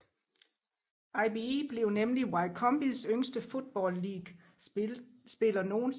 Ibe blev nemlig Wycombes yngste Football League spiller nogensinde